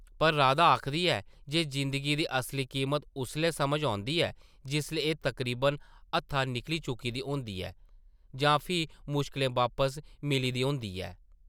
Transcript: पर राधा आखदी ऐ जे जिंदगी दी असली कीमत उस्सै’लै समझा औंदी ऐ जिसलै एह् तकरीबन हत्था निकली चुकी दी होंदी ऐ जां फ्ही मुश्कलें वापस मिली दी होंदी ऐ ।